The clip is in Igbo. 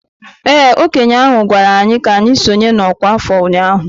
Ee, okenye ahụ gwara anyị ka anyị sonye n'ọkwa afọ ụnyahụ.